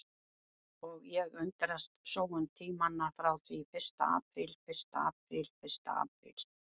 Og ég undrast sóun tímanna frá því fyrsta apríl fyrsta apríl fyrsta apríl.